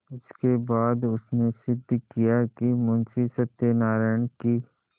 इसके बाद उसने सिद्ध किया कि मुंशी सत्यनारायण की